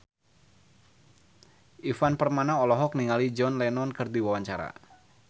Ivan Permana olohok ningali John Lennon keur diwawancara